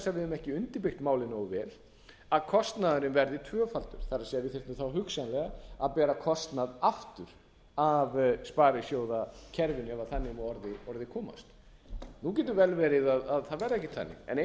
höfum ekki undirbyggt málið nógu vel að kostnaðurinn verði tvöfaldur það er að við þyrftum þá hugsanlega að bera kostnað aftur af sparisjóðakerfinu ef þannig má að orði komast nú getur vel verið að það verði ekkert þannig en eina sem við